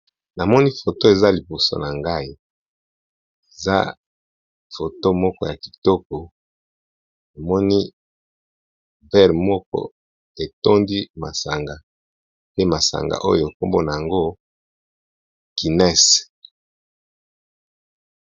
Namoni photo eza liboso nangai eza photo moko yakitoko namoni verre moko etondi masanga pe masanga wana kombo nango eza Guinness .